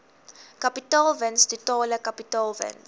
kapitaalwins totale kapitaalwins